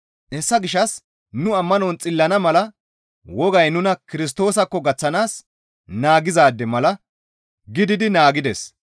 Hessa gishshas nu ammanon xillana mala wogay nuna Kirstoosakko gaththanaas naagizaade mala gididi naagides.